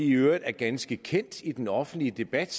øvrigt er ganske kendte i den offentlige debat